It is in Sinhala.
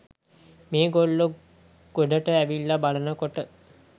මේගොල්ලො ගොඩට ඇවිල්ල බලන කොට